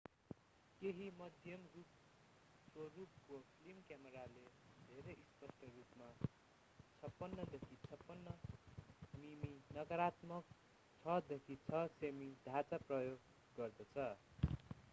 केहि मध्यम-स्वरूपको फिल्म क्यामेराले धेरै स्पष्ट रूपमा 56देखि 56 मिमी नकारात्मक 6देखि 6 सेमी ढाँचा प्रयोग गर्दछ